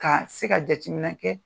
Ka se ka jateminɛ kɛ